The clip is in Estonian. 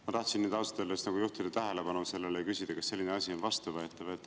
Ma tahtsin nüüd ausalt öeldes juhtida tähelepanu ja küsida, kas selline asi on vastuvõetav.